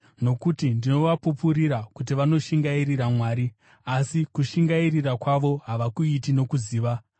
Nokuti ndinovapupurira kuti vanoshingairira Mwari, asi kushingairira kwavo havakuiti nokuziva.